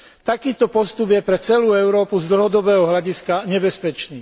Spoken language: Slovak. Takýto postup je pre celú Európu z dlhodobého hľadiska nebezpečný.